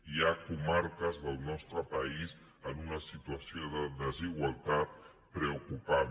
hi ha comarques del nostre país en una situació de desigualtat preocupant